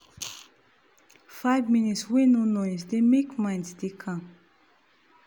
five minute wey no noise dey make mind dey calm